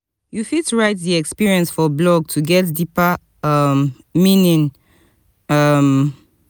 you fit write di experience for blog to get deeper um meaning um